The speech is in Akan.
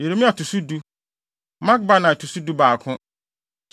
Yeremia to so du, Makbanai to so dubaako.